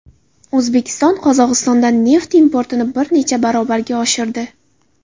O‘zbekiston Qozog‘istondan neft importini bir necha barobarga oshirdi.